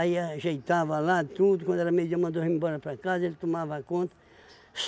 ajeitava lá tudo, quando era meio dia mandou a gente embora para casa, ele tomava conta.